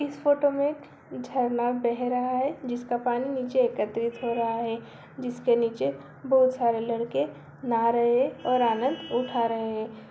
इस फोटो में झरना बह रहा है। जिसका पानी नीचे एकत्रित हो रहा है जिसके नीचे बहोत सारे लड़के नहा रहे हैं और आनंद उठा रहे हैं।